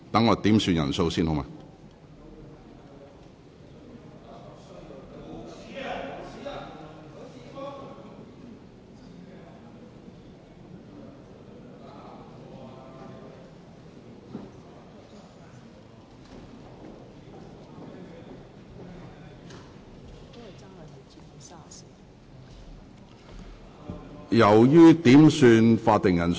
我要求點算法定人數。